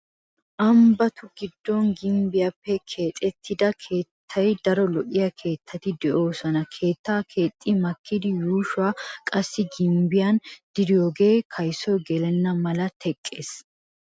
Ambbatu giddon gimbbiyaappe keexettida keehi daro lo'iya keettati de"oosona. Keettaa keexxi makkidi yuushuwaa qassi gimbbiyan diriyogee kaysoy gelenna mala teqqees.